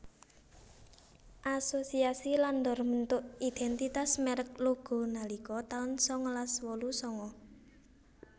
Asosiasi Landor mbentuk identitas merek Loggo nalika tahun sangalas wolu sanga